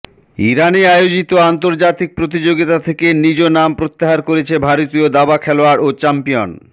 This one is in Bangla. ইরানে আয়োজিত আন্তর্জাতিক প্রতিযোগিতা থেকে নিজ নাম প্রত্যাহার করেছেন ভারতীয় দাবা খেলোয়াড় ও চ্যাম্পিয়ন